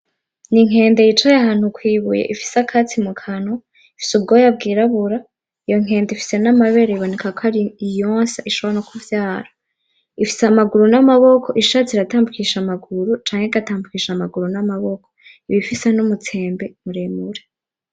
Inkende yicaye ahantu kw'ibuye ifise akatsi mukanwa ifise ubwoya bw'irabura; iyo nkende ufise namabere iboneka ko ari iyonsa ishobora nokuvyara, ifise amaguru namaboko ishatse iratambukisha amaguru canke igatambukisha amaguru n'amaboko, iba ufise numutsembe muremure.